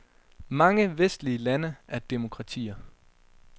Mange vestlige lande er demokratier.